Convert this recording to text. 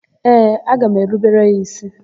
Ee, aga m erubere ya ísí.